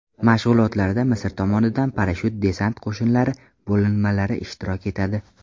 Mashg‘ulotlarda Misr tomonidan parashyut-desant qo‘shinlari bo‘linmalari ishtirok etadi.